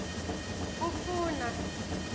ufuna